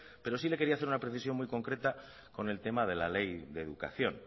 pero sí le quería hacer una precisión muy concreta con el tema de la ley de educación